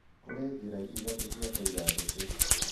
Kũrĩ njĩra ithatũ cia kũiga njũkĩ